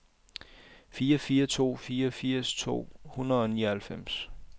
fire fire to fire firs to hundrede og nioghalvfems